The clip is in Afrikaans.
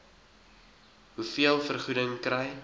hoeveel vergoeding kry